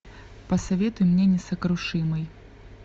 посоветуй мне несокрушимый